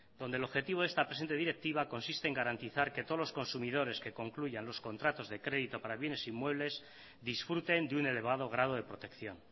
donde el objetivo de esta presente directiva consiste en garantizar que todos los consumidores que concluyan los contratos de crédito para bienes inmuebles disfruten de un elevado grado de protección